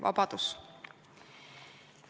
Vabadus!